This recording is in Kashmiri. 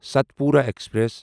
ستپورا ایکسپریس